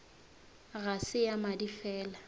ga se ya madi fela